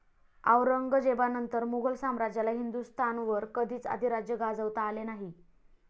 औरंगजेबानंतर मुघल साम्राज्याला हिंदुस्थानवर कधीच अधिराज्य गाजवता आले नाही.